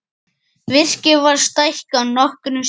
Virkið var stækkað nokkrum sinnum.